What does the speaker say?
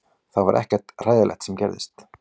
Það var ekkert hræðilegt sem gerðist